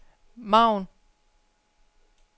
margen